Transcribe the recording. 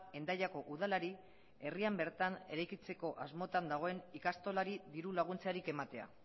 hendaiako udalari herrian bertan eraikitzeko asmotan dagoen ikastolari dirulaguntzarik ematea